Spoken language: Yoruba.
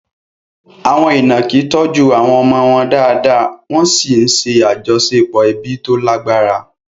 Àwọn ìnàkí tọ́jú àwọn ọmọ wọn dáadáa, wọ́n sì ń ṣe àjọṣepọ̀ ẹbí tó lágbára.